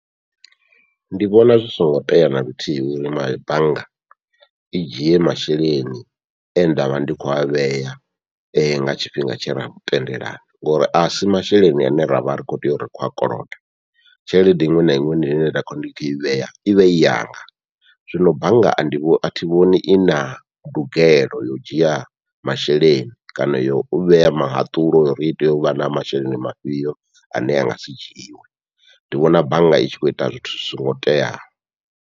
Ndi vhona zwi songo tea naluthihi uri bannga i dzhie masheleni e ndavha ndi kho a vhea nga tshifhinga tshe ra tendelana, ngori asi masheleni ane ravha ri kho tea uri ri kho a koloda tshelede iṅwe na iṅwe ine nda khou ndi i vhea ivha i yanga. Zwino bannga a ndi athi vhoni ina ndugelo yo u dzhia masheleni kana yo u vhea muhaṱulo ya uri hu tea uvha na masheleni mafhiyo ane angasi dzhiiwe, ndi vhona bannga i tshi khou ita zwithu zwi songo teaho.